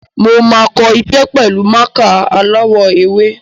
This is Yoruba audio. Mo máa kọ iṣẹ́ pẹ̀lú mákà aláwọ̀ ewé.